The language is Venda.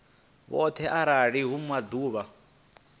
vhoṱhe arali hu uri maḓuvha